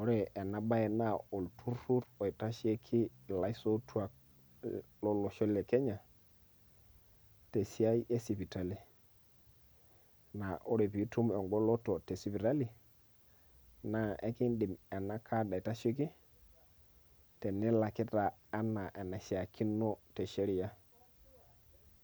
ore enabae naa olturrur oitasheki ilaisotuak lolosho le Kenya, tesiai esipitali. Na ore pitum egoloto esipitali, naa ekiidim ena kad aitasheki, tenilakita enaa enashaakino te sheria.